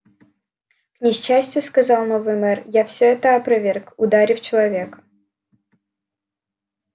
к несчастью сказал новый мэр я всё это опроверг ударив человека